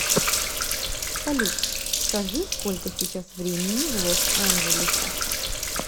салют скажи сколько сейчас времени в лос анджелесе